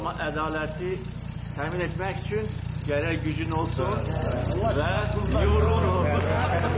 Amma ədaləti təmin etmək üçün gərək gücün olsun və yumruğun olsun.